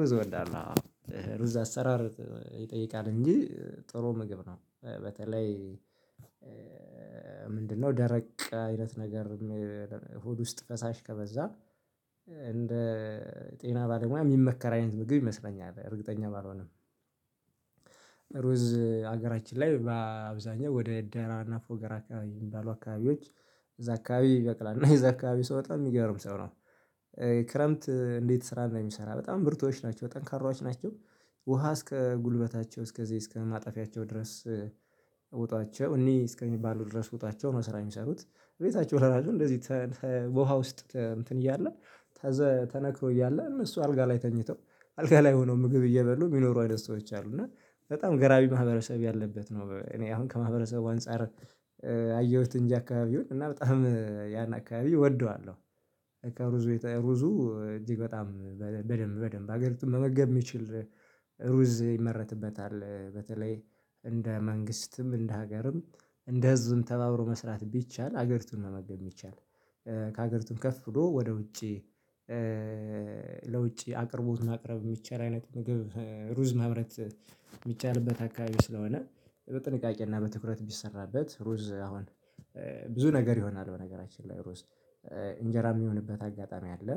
ሩዝ እወዳለሁ አው ሩዝ አሰራር ይጠይቃል እንጂ ጥሩ ምግብ ነው። በተለይ ምንድነው? ደረቅ አይነት ነገር ሆድ ውስጥ ፈሳሽ ከበዛ እንደ ጤና ባለሙያ የሚመከር አይነት ምግብ ይመስለኛል እርግጠኛ ባልሆንም። ሀገራችን ላይ በአብዛኛው ወደ ዴይራና ፎገራ አካባቢ ባሉ አካባቢዎች እዛ አካባቢ ይበቅላልና እዛ አካባቢ ሰው በጣም የሚገርም ሰው ነው። ክረምት እንዴት ስራ እንደሚሰራ በጣም ብርቱዎች ናቸው ጠንካራዎች ናቸው። ውሃ እስከ ጉልበታቸው እስከዚህ እስከማጠፊያቸው ድረስ ዉጧቸው እኔ እስከሚባሉ ድረስ ዉጧቸው ነው ስራ የሚሰሩት። ቤታቸው ለራሱ እንደዚህ በውሃ ውስጥ እንትን እያለ ተነክሮ እያለ እነሱ አልጋ ላይ ተኝተው አልጋ ላይ ሆነው ምግብ እየበሉ የሚኖሩ አይነት ሰዎች አሉ። እና በጣም ገራሚ ማህበረሰብ ያለበት ነው። እኔ አሁን ከማህበረሰቡ አንፃር አየሁት እንጃ አካባቢ ይሁን እና በጣም ያን አካባቢ እወደዋለሁ። ሩዙ ሩዙ እጅግ በጣም በደንብ በደንብ ሀገርቱን መመገብ የሚችል ሩዝ ይመረትበታል። በተለይ እንደ መንግስትም እንደ ሀገርም እንደዚህም ተባብሮ መስራት ቢቻል ሀገርቱን መመገብ ይቻላል። ከሀገርቱም ከፍ ብሎ ወደ ውጪ ለውጪ አቅርቦት ማቅረብ የሚቻል አይነት ምግብ ሩዝ ማምረት። የሚቻልበት አካባቢ ስለሆነ በጥንቃቄ እና በትኩረት ቢሰራበት ሩዝ አሁን ብዙ ነገር ይሆናል። በነገራችን ላይ ሩዝ እንጀራ የሚሆንበት አጋጣሚ አለ።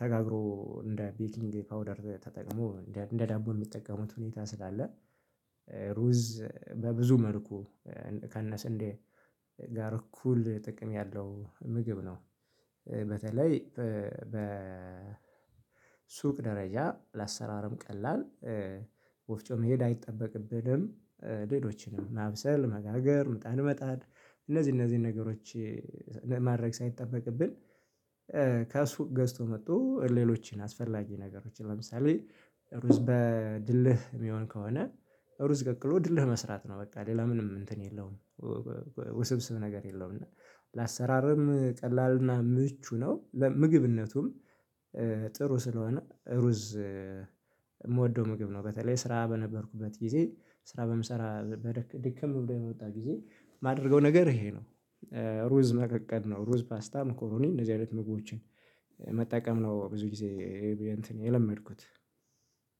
ተጋግሮ እንደ ቤኪንግ ፓውደር ተጠቅሞ እንደ ዳቦ የሚጠቀሙት ሁኔታ ስላለ። ሩዝ በብዙ መልኩ ከነስንዴ ጋር እኩል ጥቅም ያለው ምግብ ነው። በተለይ በሱቅ ደረጃ ለአሰራርም ቀላል ወፍጮ መሄድ አይጠበቅብንም። ሌሎችንም ማብሰል መጋገር ምጣድ መጣድ እነዚህ እነዚህን ነገሮች ማድረግ ሳይጠበቅብን። ከሱቅ ገዝቶ መቶ ሌሎችን አስፈላጊ ነገሮችን ለምሳሌ ሩዝ በድልህ የሚሆን ከሆነ ሩዝ ቀቅሎ ድልህ መስራት ነው በቃ ሌላ ምንም እንትን የለውም። ውስብስብ ነገር የለውም እና ለአሰራርም ቀላልና ምቹ ነው። ለምግብነቱም ጥሩ ስለሆነ ሩዝ የምወደው ምግብ ነው። በተለይ ስራ በነበርኩበት ጊዜ ስራ በምሰራ ድክም ብሎኝ የምወጣ ጊዜ የማደርገው ነገር ይሄ ነው። ሩዝ መቀቀል ነው ሩዝ ፓስታም መኮሮኒ መቀቀል እንደዚህ አይነት ምግቦችን መጠቀም ነው። ብዙ ጊዜ የለመድኩት